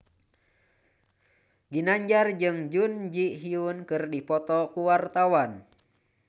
Ginanjar jeung Jun Ji Hyun keur dipoto ku wartawan